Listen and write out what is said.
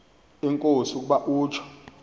enkosi ukuba utsho